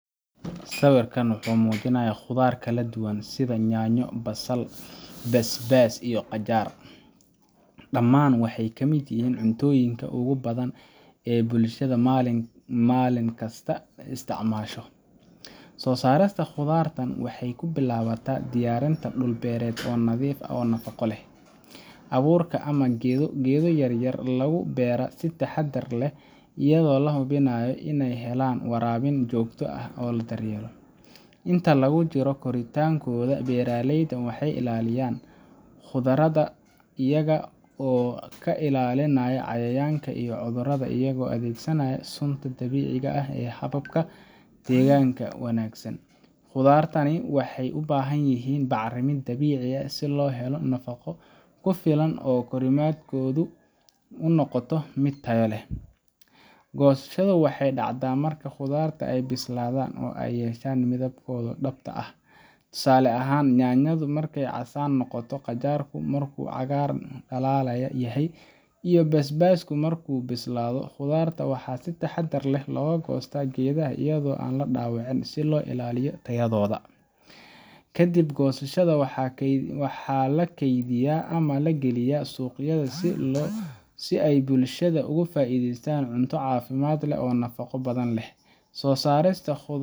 Sawirkan wuxuu muujinayaa khudaar kala duwan sida yaanyo, basbaas, basal iyo qajaar – dhammaan waxay ka mid yihiin cuntooyinka ugu badan ee bulshada maalin kasta isticmaasho. Soo saarista khudartan waxay ku bilaabataa diyaarinta dhul beereed oo nadiif ah oo nafaqo leh. Abuurka ama geedo yar yar ayaa lagu beeraa si taxaddar leh, iyadoo la hubinayo in ay helaan waraabin joogto ah iyo daryeel. Inta lagu jiro koritaankooda, beeraleyda waxay ilaaliyaan khudradda, iyaga oo ka ilaalinaya cayayaanka iyo cudurrada iyadoo la adeegsanayo sunta dabiiciga ah ama hababka deegaanka u wanaagsan. Khudraddani waxay u baahan yihiin bacriminta dabiiciga ah si ay u helaan nafaqo ku filan oo korriimadoodu u noqoto mid tayo leh. Goosashadu waxay dhacdaa marka khudartan ay bislaadaan oo ay yeeshaan midabkooda dhabta ah – tusaale ahaan, yaanyadu marka ay casaan noqoto, qajaarku markuu cagaar dhalaalaya yahay, iyo basbaaska markuu bislaado. khudartan waxaa si taxaddar leh looga goostaa geedaha iyadoo aan la dhaawicin, si loo ilaaliyo tayadooda. Kadib goosashada, waxaa la kaydiyaa ama la geeyaa suuqyada si ay bulshada ugu faa’iideeystaan cunto caafimaad leh oo nafaqo badan leh. Soo saarista.